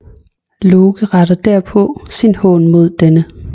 Loke retter derpå sin hån mod denne